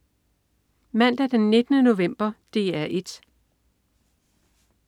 Mandag den 19. november - DR 1: